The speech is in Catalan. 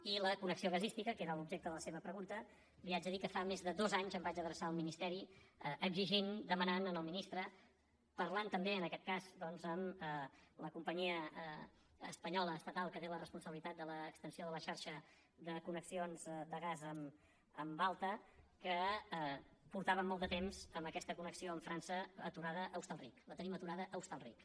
i la connexió gasística que era l’objecte de la seva pregunta li haig de dir que fa més de dos anys em vaig adreçar al ministeri exigint demanant al ministre parlant també en aquest cas doncs amb la companyia espanyola estatal que té la responsabilitat de l’extensió de la xarxa de connexions de gas en alta que portàvem molt de temps amb aquesta connexió amb frança aturada a hostalric la tenim aturada a hostalric